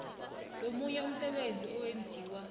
nomunye umsebenzi owenziwa